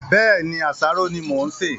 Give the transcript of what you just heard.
Bẹ́ẹ̀ni, àsáró ni mo ń ṣe